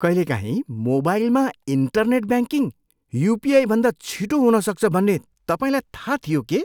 कहिलेकाहीँ मोबाइलमा internet banking युपिआईभन्दा छिटो हुन सक्छ भन्ने तपाईँलाई थाहा थियो के?